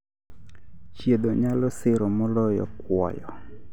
Chiedho nyalo siro moloyo kuoyo